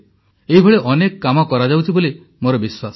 ଏଇଭଳି ଅନେକ କାମ କରାଯାଉଛି ବୋଲି ମୋର ବିଶ୍ୱାସ